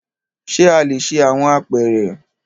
Ṣe a le ṣe awọn apeere?